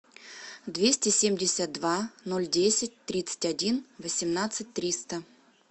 двести семьдесят два ноль десять тридцать один восемнадцать триста